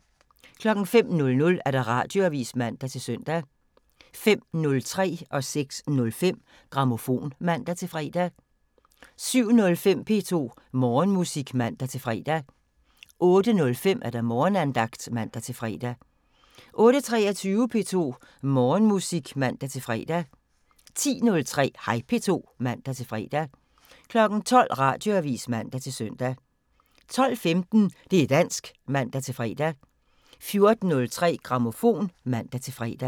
05:00: Radioavisen (man-søn) 05:03: Grammofon (man-søn) 06:05: Grammofon (man-fre) 07:05: P2 Morgenmusik (man-fre) 08:05: Morgenandagten (man-fre) 08:23: P2 Morgenmusik (man-fre) 10:03: Hej P2 (man-fre) 12:00: Radioavisen (man-søn) 12:15: Det' dansk (man-fre) 14:03: Grammofon (man-fre)